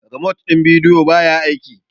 remote din video ba ya aiki